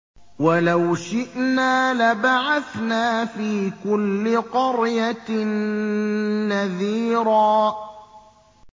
وَلَوْ شِئْنَا لَبَعَثْنَا فِي كُلِّ قَرْيَةٍ نَّذِيرًا